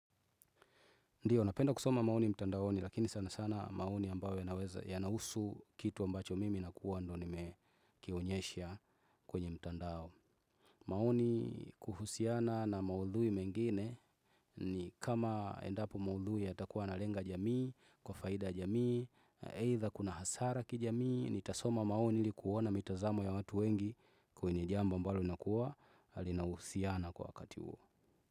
Ndio, napenda kusoma maoni mtandaoni lakini sana sana maoni ambayo yanaweza yanahusu kitu ambacho mimi nakuwa ndo nimekionyesha kwenye mtandao. Maoni kuhusiana na maudhui mengine ni kama endapo maudhui yatakuwa yanalenga jamii, kwa faida ya jamii, either kuna hasara kijamii, nitasoma maoni ili kuona mitazamo ya watu wengi kwenye jambo ambalo inakuwa linahusiana kwa wakati huo.